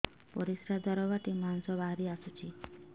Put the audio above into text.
ପରିଶ୍ରା ଦ୍ୱାର ବାଟେ ମାଂସ ବାହାରି ଆସୁଛି